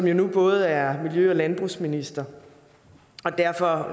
jo nu både er miljø og landbrugsminister og derfor